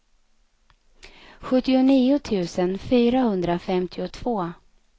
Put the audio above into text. sjuttionio tusen fyrahundrafemtiotvå